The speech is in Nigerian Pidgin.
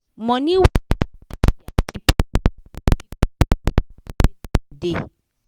money wey dem da send for dia pipu help dia pipu pay for house wey dem da